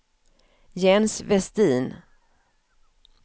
Jens Vestin